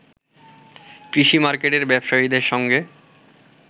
কৃষি মার্কেটের ব্যবসায়ীদের সঙ্গে